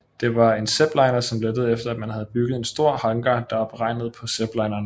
Det var en Zeppeliner som lettede efter at man havde bygget en stor hangar der var beregnet på Zeppelinerne